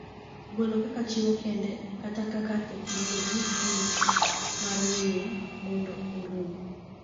golo kaka chiwo kende kata kaka teknoloji manyiso'' mar weye mondo orum''